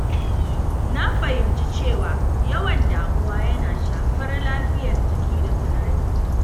Na fahimci cewa yawan damuwa yana shafar lafiyar jiki da tunani.